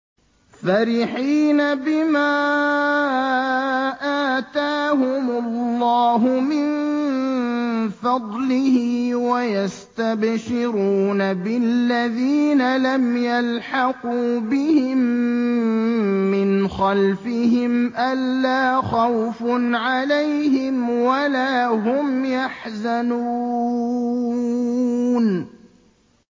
فَرِحِينَ بِمَا آتَاهُمُ اللَّهُ مِن فَضْلِهِ وَيَسْتَبْشِرُونَ بِالَّذِينَ لَمْ يَلْحَقُوا بِهِم مِّنْ خَلْفِهِمْ أَلَّا خَوْفٌ عَلَيْهِمْ وَلَا هُمْ يَحْزَنُونَ